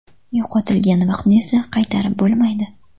Yo‘qotilgan vaqtni esa qaytarib bo‘lmaydi.